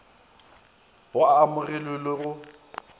go a amogelwe le go